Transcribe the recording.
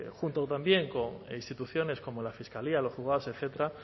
junto también a instituciones como la fiscalía los juzgados etcétera